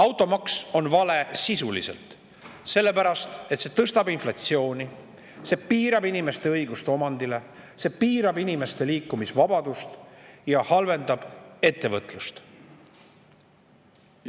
Automaks on sisult vale, sellepärast et see tõstab inflatsiooni, see piirab inimeste õigust omandile, see piirab inimeste liikumisvabadust ja halvendab ettevõtlust.